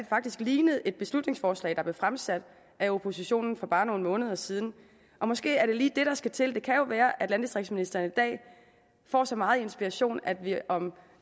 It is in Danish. faktisk lignede et beslutningsforslag der blev fremsat af oppositionen for bare nogle måneder siden og måske er det lige det der skal til det kan jo være at landdistriktsministeren i dag får så meget inspiration at vi om